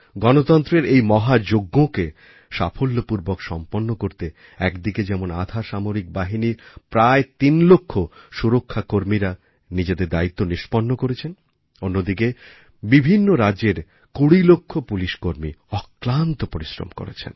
গণতন্ত্রের এই মহাযজ্ঞকে সাফল্যপূর্বক সম্পন্ন করতে একদিকে যেমন আধাসামরিক বাহিনীর প্রায় তিন লক্ষ সুরক্ষাকর্মীরা নিজেদের দায়িত্ব নিষ্পন্ন করেছেন অন্যদিকে বিভিন্ন রাজ্যের কুড়ি লক্ষ পুলিশকর্মী অক্লান্ত পরিশ্রম করেছেন